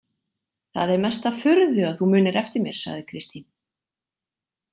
Það er mesta furðu að þú munir eftir mér, sagði Kristín.